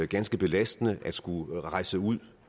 ganske belastende at skulle rejse ud